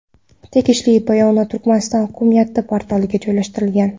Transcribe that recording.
Tegishli bayonot Turkmaniston hukumati portaliga joylashtirilgan .